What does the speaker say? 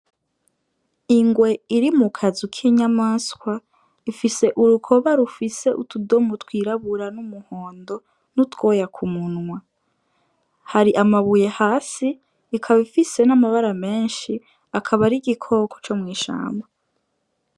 Ingwe iri mukazu k'inyamaswa ifis'urukoba rufise utudomo twirabura, n'umuhondo ,n'utwoya k'umunwa, hari amabuye hasi ikaba ifise n'amabara menshi akaba ar'igikoko co mw'ishamba.